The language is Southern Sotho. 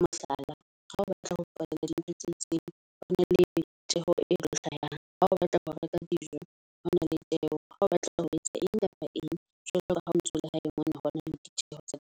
Mohlala, ha o batla ho patala di ntho tse itseng, ho na le tjeho e tlo hlahang. Ha o batla ho reka dijo hona le tjeho. Ha o batla ho etsa eng kapa eng jwalo ka ha o ntso ho na le ditjeho tsa .